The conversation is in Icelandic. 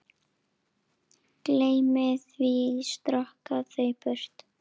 Gleymi því, stroka það burt.